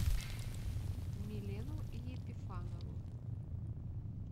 милену епифанову